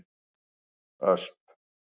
Ösp